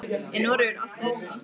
Er Noregur allt öðruvísi en Ísland?